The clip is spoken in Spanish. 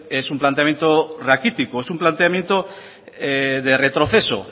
es un planteamiento raquítico es un planteamiento de retroceso